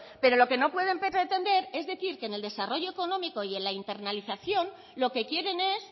pero lo que no puede pretender es decir que en el desarrollo económico y en la internalización lo que quieren es